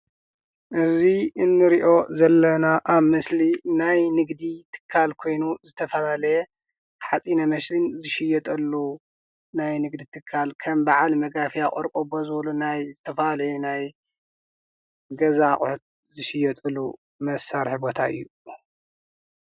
እዚ እንሪኦ ዘለና አብ ምስሊ ናይ ንግዲ ትካል ኮይኑ ዝተፈላለየ ሓፂነ ማሽን ዝሽየጠሉ ናየ ንግዲ ትካል ከም ናይ በዓለ መጋፍያ፣ ቆርቆቦ ዝበሉ ናይ ዝተፈላለዩ ናይ ገዛ አቁሑት ዝሽየጠሉ መሳረሒ ቦታ እዩ፡፡